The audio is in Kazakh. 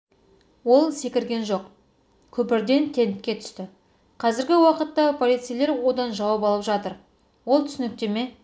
ол секірген жоқ көпірден тентке түсті қазіргі уақытта полицейлер одан жауап алып жатыр ол түсініктеме